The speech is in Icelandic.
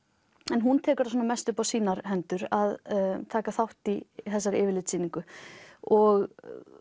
en hún tekur það mest upp á sínar hendur að taka þátt í þessari yfirlitssýningu og